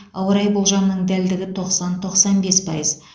ауа райы болжамының дәлдігі тоқсан тоқсан бес пайыз